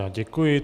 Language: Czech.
Já děkuji.